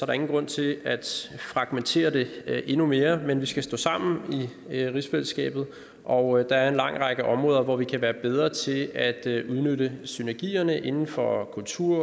ingen grund til at fragmentere det endnu mere men vi skal stå sammen i rigsfællesskabet og der er en lang række områder hvor vi kan være bedre til at udnytte synergierne inden for kultur